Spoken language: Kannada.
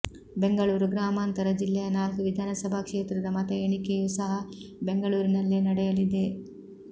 ಬೆಂಗಳೂರು ಗ್ರಾಮಾಂತರ ಜಿಲ್ಲೆಯ ನಾಲ್ಕು ವಿಧಾನಸಭಾ ಕ್ಷೇತ್ರದ ಮತ ಎಣಿಕೆಯೂ ಸಹ ಬೆಂಗಳೂರಿನಲ್ಲೇ ನಡೆಯಲಿದೆ